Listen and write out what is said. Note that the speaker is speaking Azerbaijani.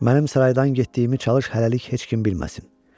mənim saraydan getdiyimi çalış hələlik heç kim bilməsin.